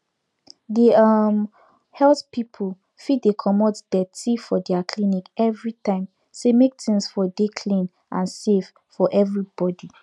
the um health people fit dey comot deti for their clinic everytime say make things for dey clean and safe for everybody